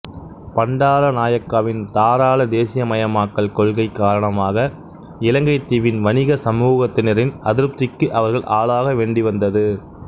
பண்டாரநாயக்காவின் தாராள தேசியமயமாக்கல் கொள்கை காரணமாக இலங்கைத் தீவின் வணிக சமூகத்தினரின் அதிருப்திக்கு அவர்கள் ஆளாக வேண்டி வந்தது